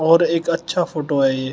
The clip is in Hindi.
और एक अच्छा फोटो है ये--